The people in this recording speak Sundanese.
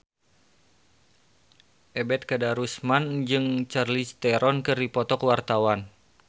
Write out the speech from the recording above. Ebet Kadarusman jeung Charlize Theron keur dipoto ku wartawan